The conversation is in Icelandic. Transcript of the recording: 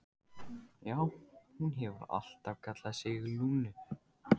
Já, hún hefur alltaf kallað sig Lúnu.